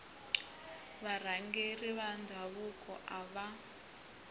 varhangeri va ndhavuko a va